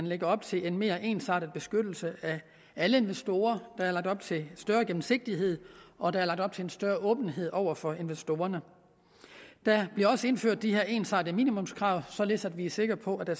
lægger op til en mere ensartet beskyttelse af alle investorer der er lagt op til større gennemsigtighed og der er lagt op til en større åbenhed over for investorerne der bliver også indført de her ensartede minimumskrav således at vi er sikre på at